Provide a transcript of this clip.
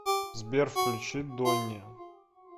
сбер включи дони